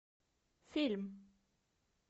фильм